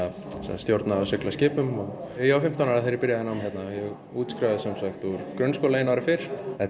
stjórna og sigla skipum ég var fimmtán ára þegar ég byrjaði nám hérna ég útskrifaðist úr grunnskóla einu ári fyrr þetta